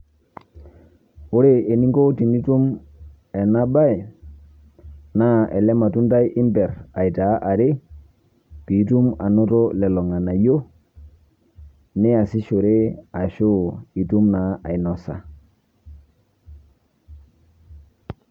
Ore eninko tenitum enabae, naa ele matundai imper aitaa are, pitum anoto lelo ng'anayio, niasishore ashu itum naa ainosa.